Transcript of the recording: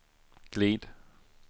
glid